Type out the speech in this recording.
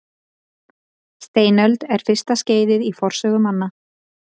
Steinöld er fyrsta skeiðið í forsögu manna.